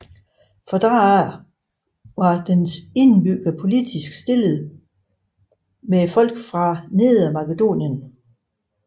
Fra da af var dens indbyggere politisk ligestillede med folk fra nedre makedonien